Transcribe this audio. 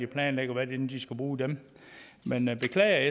planlægger hvordan de skal bruge dem men jeg beklager at